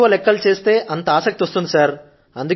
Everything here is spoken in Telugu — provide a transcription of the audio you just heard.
ఎంత ఎక్కువ గా లెక్కలు చేస్తే అంత గా ఆసక్తి వస్తుంది